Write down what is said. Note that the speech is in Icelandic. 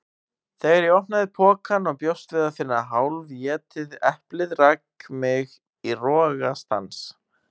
Þegar ég opnaði pokann og bjóst við að finna hálfétið eplið rak mig í rogastans.